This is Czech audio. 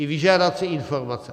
I vyžádat si informace.